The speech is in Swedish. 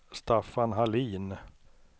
Staffan Hallin